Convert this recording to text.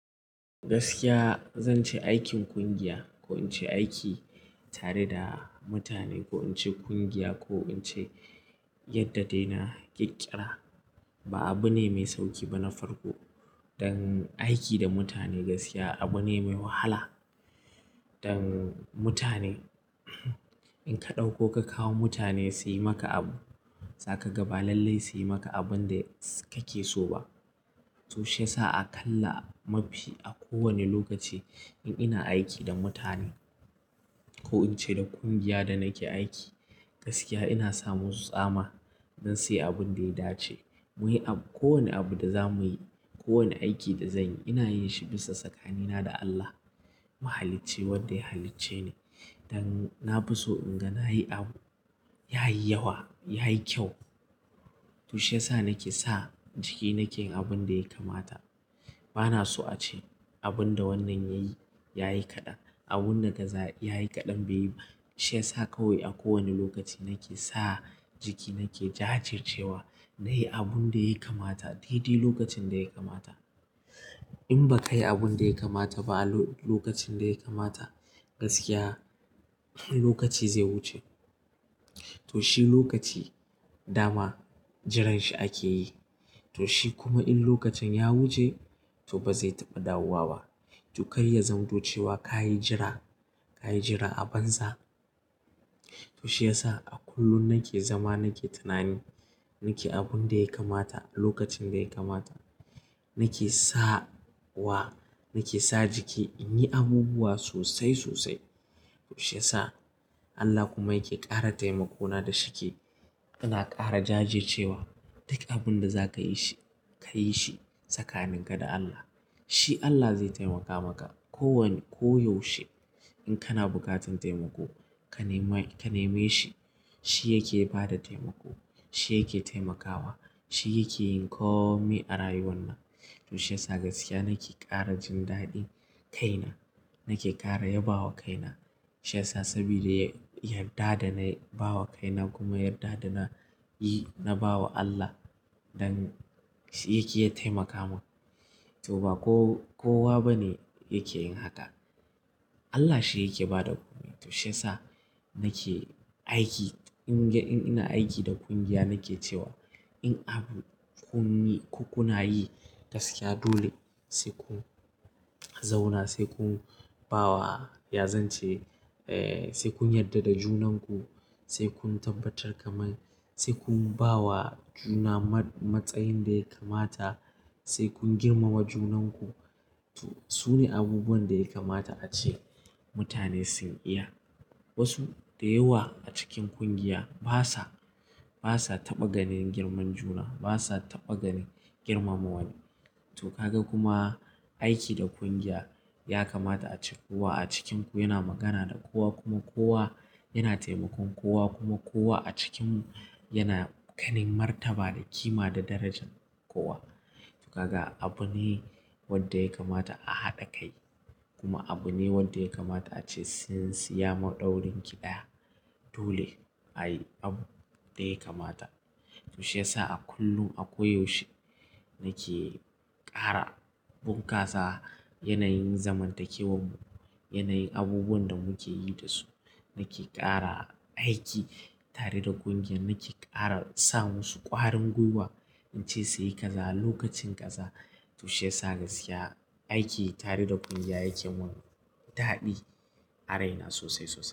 Gaskiya zan ce aikin kungiya ko in ce aiki tare da mutane ko in ce kungiya ko in ce yadda dai na ƙikƙira ba abu ne mai sauƙi ba na farko. Dan aiki da mutane gaskiya abu ne mai wahala. Dan mutane in ka ɗauko ka kawo mutane su yi maka abu, za ka ga ba lallai su yi maka abin da kake so ba. To shiyasa a kalla mafi a kowane lokaci in ina aiki da mutane ko in ce da kungiyar da nake aiki gaskiya ina sa musu tsama dan suyi abin da ya dace. Muyi abu-- kowane abu da za muyi, kowane aiki da zanyi ina yin shi bisa tsakanina da Allah. Muhalici wanda ya halice ni. Dan na fi so in ga na yi abu, ya yi yawa, ya yi kyau. To shiyasa nake sa jiki nake yin abun da ya kamata. Bana so a ce abin da wannan yayi, yayi kaɗan. Abun da kaza yayi kaɗan beyi. Shi yasa kawai a kowane lokaci nake sa jiki nake jajircewa na yi abun da ya kamata dai-dai lokacin da ya kamata. In ba ka yi abun da ya kamata ba a lo-lokacin da ya kamata gaskiya lokaci zai wuce. To shi lokaci dama jiranshi ake yi. To shi kuma in lokacin ya wuce to ba zai taɓa dawowa ba. To kai ya zamto cewa ka yi jira, ka yi jira a banza. To shi yasa a kullum nake zama nake tunani, nake abun da ya kamata a lokacin da ya kamata. Nake sa wa, nake sa jiki in yi abubuwa sosai sosai. To shiyasa Allah kuma yake ƙara taimakona da shike. Ina ƙara jajjircewa duk abun da za ka yi shi, ka yi shi tsakaninka da Allah. Shi Allah zai taimaka maka. Ko wani-- ko yaushe in kana buƙatan taimako, ka nema-- ka neme shi, shi yake bada taimako. Shi yake taimakawa. Shi yake yin komai a rayuwar nan. To shiyasa gaskiya nake ƙara jin daɗin kaina. Nake ƙara yabawa kaina. Shi yasa saboda yarda da nayi bawa kaina kuma yarda da na yi, na bawa Allah. Dan shi yake iya taimaka mun. To ba ko-kowa bane yake yin haka. Allah shi yake bada kome. To shiyasa nake aiki in ina aiki da kungiya nake cewa in abu kun yi-- ku kuna yi gaskiya dole sai kun zauna sai kun bawa ya zance. Eh, sai kun yarda da junanku. Sai kun tabbatar kamar sai kun bawa juna matsayin da ya kamata, sai kun girmama junanku. To sune abubuwan da ya kamata ace mutane sun iya. Wasu da yawa a cikin kungiya basa, basa taɓa ganin girman juna. Basa taɓaganin girmama wani. To kaga kuma aiki da kungiya ya kamata ce kowa a cikinku yana magana da kowa kuma kowa yana taimakon kowa kuma kowa a cikinmu yana ganin martaba da kima da darajan kowa. To kaga abu ne wanda ya kamata a haɗa kai kuma abu ne wanda ya kamata ace tsintsinya maɗaurinki ɗaya. Dole a yi abu da ya kamata. To shiyasa a kullum a ko yaushe nake ƙara bunƙasa yanayin zamantakewar mu, yanayin abubuwan da muke yi da su. Nake ƙara aiki tare da kungiya. Nake ƙara sa musu ƙwarin gwiwa. In ce suyi ƙaza lokacin ƙaza. To shiyasa gaskiya aiki tare da kungiya yake mun daɗi a raina sosai sosai.